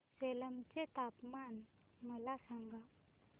सेलम चे तापमान मला सांगा